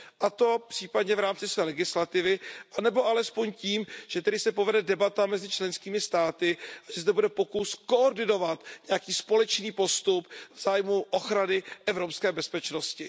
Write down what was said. A to případně v rámci své legislativy nebo alespoň tím, že tedy se povede debata mezi členskými státy, že zde bude pokus koordinovat nějaký společný postup v zájmu ochrany evropské bezpečnosti.